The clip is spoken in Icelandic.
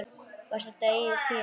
Var þetta eigið fé?